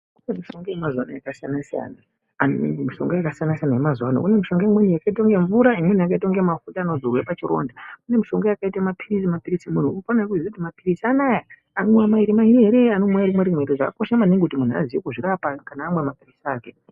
Mishonga yakasiyana -siyana imweni yakaita mvura imweni yakaita mafuta anozorwa pachironda uye mishonga yakaita mapirizi mapirizi anoya anomwiwa mairi mairi ere kana rimwe rimwe chakakosha kuziya kuti munhu akone kuzvirapa kana amwa mapirizi ake.